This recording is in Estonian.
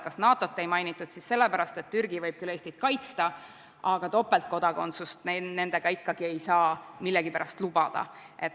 Kas NATO-t ei mainitud siis sellepärast, et Türgi võib seal Eestit kaitsta, aga topeltkodakondsust me nendega ikkagi ei saa millegipärast lubada.